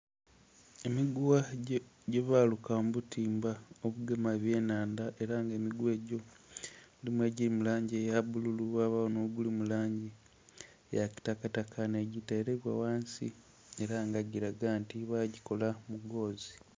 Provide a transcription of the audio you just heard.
Emiguwa gyebaaluka mu butimba obugema ebyenhanda ela nga emiguwa egyo mulimu egili mu langi eya bululu, wabagho nh'ogulu mu langi eya kitakataka nga giteleibwa ghansi ela nga gilaga nti bagikola mu goozi.